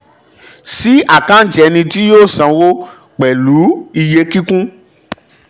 sí àkáǹtì ẹni tí yóò sanwó pẹ̀lú iye kíkún